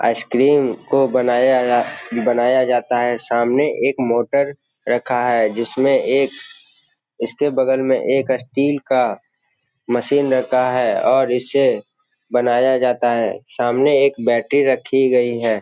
Ice cream को बनाया बनाया जाता है। सामने एक मोटर रखा है जिसमें एक इसके बगल में एक स्टील का मशीन रखा है और इसे बनाया जाता है। सामने एक बैटरी रखी गई है।